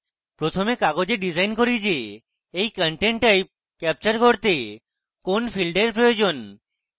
প্রথম কাগজে ডিসাইন করি যে এই content type capture করতে কোন fields এর প্রয়োজন